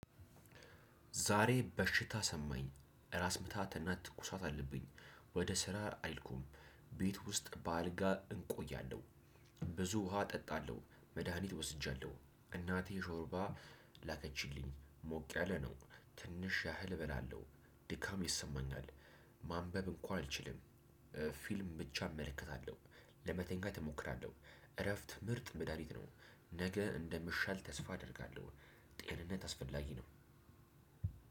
ዛሬ በሽታ ሰማኝ ራስ ምታትና ትኩሳት አለብኝ። ወደ ስራ አይልኩም። ቤት ውስጥ በአልጋ እንቆያለሁ። ብዙ ውሃ እጠጣለሁ መድሃኒት ወስጃለሁ እናቴ ሾርባ ላከችልኝ። ሞቅ ያለ ነው። ትንሽ ያህል እበላለሁ ድካም ይሰማኛል። ማንበብ እንኳን አልችልም። ፊልም ብቻ እመለከታለሁ ለመተንካ እሞክራለሁ። እረፍት ምርጥ ምዳሪት ነው። ነገ እንደምሻል ተስፋ አደርጋለሁ። ጤንነት አስፈላጊ ነው።